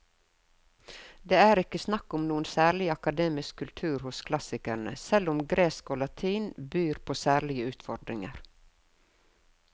Det er ikke snakk om noen sær akademisk kultur hos klassikerne, selv om gresk og latin byr på særlige utfordringer.